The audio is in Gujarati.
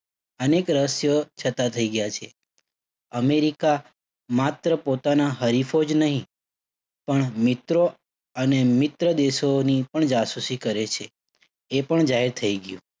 અનેક રહસ્ય થઇ ગયા છે. અમેરિકા માત્ર પોતાના હરીફો જ નહિ, પણ મિત્રો અને મિત્ર દેશોની પણ જાસૂસી કરે છે. એ પણ જાહેર થઇ ગયું.